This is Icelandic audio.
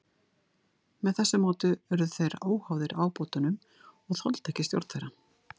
Með þessu móti urðu þeir óháðir ábótunum og þoldu ekki stjórn þeirra.